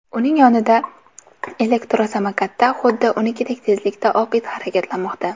Uning yonida elektrosamokatda, xuddi unikidek tezlikda oq it harakatlanmoqda.